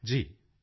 ਜੀ ਜੀ